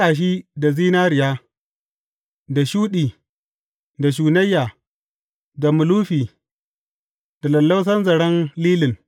A saƙa shi da zinariya, da shuɗi, da shunayya, da mulufi, da lallausan zaren lilin.